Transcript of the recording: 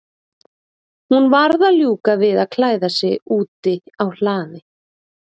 Hún varð að ljúka við að klæða sig úti á hlaði.